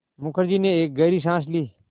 मुखर्जी ने एक गहरी साँस ली